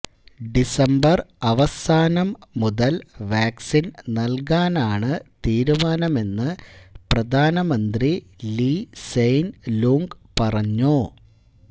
December അവസാനം മുതല് vaccine നല്കാനാണ് തീരുമാനമെന്ന് പ്രധാന മന്ത്രി ലീ സെയ്ന് ലൂംഗ് പറഞ്ഞു